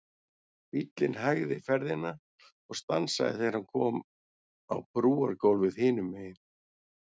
Bíllinn hægði ferðina og stansaði þegar hann kom á brúargólfið hinum megin.